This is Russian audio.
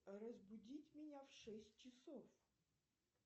разбудить меня в шесть часов